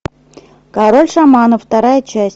король шаманов вторая часть